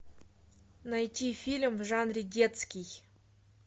найти фильм в жанре детский